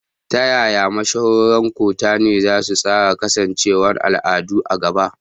Ta yaya mashahuran kutane za su tsara kasancewar al'ada a gaba?